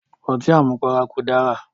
Ọtí àmupara kò dára